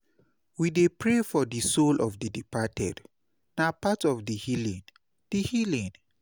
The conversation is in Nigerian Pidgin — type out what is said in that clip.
We dey pray for the soul of the departed; na part of di healing. di healing.